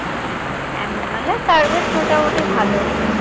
অ্যামাজনের service মোটামুটি ভালোই